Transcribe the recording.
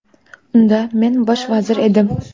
Unda men bosh vazir edim.